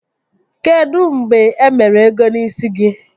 Kedụ mgbe e mere ego n'ịsi gị?